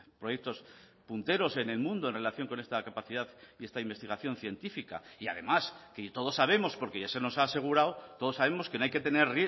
proyectos punteros en el mundo en relación con esta capacidad y esta investigación científica y además que todos sabemos porque ya se nos ha asegurado todos sabemos que no hay que tener